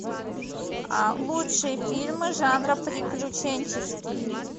лучшие фильмы жанра приключенческий